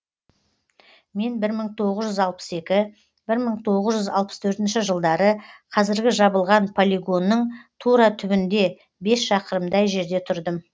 мен бір мың тоғыз жүз алпыс екі бір мың тоғыз жүз алпыс төртінші жылдары қазіргі жабылған полигонның тура түбінде бес шақырымдай жерде тұрдым